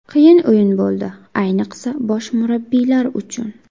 Qiyin o‘yin bo‘ldi, ayniqsa bosh murabbiylar uchun.